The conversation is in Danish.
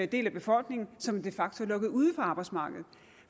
del af befolkningen som de facto er lukket ude fra arbejdsmarkedet